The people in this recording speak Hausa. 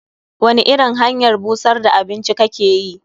Wani irin hanyar busar da abinci kake yi?